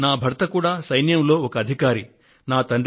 నా భర్త సైన్యంలో ఒక అధికారిగా పనిచేస్తున్నారు